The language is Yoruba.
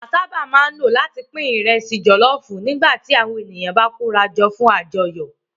Àtẹ la sábà máa ń lò láti pín ìrẹsì jọ̀lọ́ọfù nígbà tí àwọn ènìyàn bá kórajọ fún àjọyọ̀